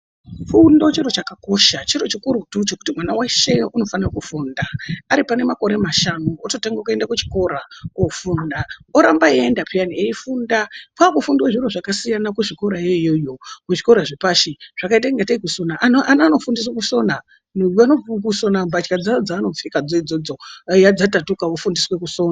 Fundo chiro chakakosha fundo chiro chikurutu chekuti mwana veshe unofanira kufunda. Ari panemakore mashanu ototange kuenda kuchikora kofunda oramba eienda peyani kofunda kwakufundwa zviro zvakasiyana kuzvikora kona iyoyo. Muzvikora zvepashi zvakaita kunge tei kusona ana anofundiswa kusona kusona mbatya dzavo dzaanopfeka dzodzodzo dai dzatatuka ofundiswa kusona.